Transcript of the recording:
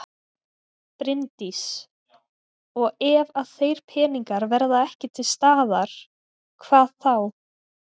Bryndís: Og ef að þeir peningar verða ekki til staðar, hvað þá?